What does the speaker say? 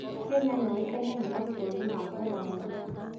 Kenya yũĩkaine nĩ mabũrũri ma kũraya.